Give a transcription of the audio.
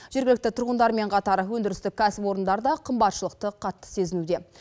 жергілікті тұрғындармен қатар өндірістік кәсіпорындар да қымбатшылықты қатты сезінуде